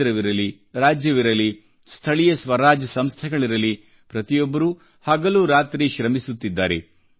ಕೇಂದ್ರವಿರಲಿ ರಾಜ್ಯವಿರಲಿ ಸ್ಥಳೀಯ ಸ್ವರಾಜ್ ಸಂಸ್ಥೆಗಳಿರಲಿ ಪ್ರತಿಯೊಬ್ಬರೂ ಹಗಲು ರಾತ್ರಿ ಶ್ರಮಿಸುತ್ತಿದ್ದಾರೆ